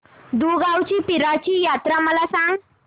दुगावची पीराची यात्रा मला सांग